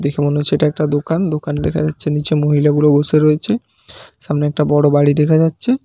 দেখে মনে হচ্ছে এটা একটা দোকান দোকান দেখা যাচ্ছে নিচে মহিলাগুলো বসে রয়েছে সামনে একটা বড় বাড়ি দেখা যাচ্ছে।